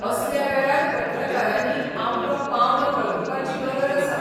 असल्या वेळार पत्रकारांनी आपलो पावंडो वळखुपाची गरज आसा.